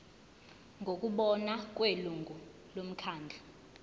ngokubona kwelungu lomkhandlu